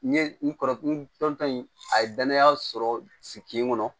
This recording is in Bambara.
N ye n kɔrɔtɔ in a ye danaya sɔrɔ sigi kɔnɔ